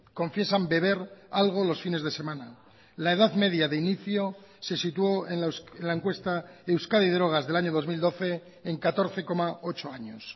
confiesan beber algo los fines de semana la edad media de inicio se situó en la encuesta euskadi y drogas del año dos mil doce en catorce coma ocho años